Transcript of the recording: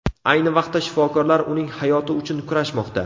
Ayni vaqtda shifokorlar uning hayoti uchun kurashmoqda.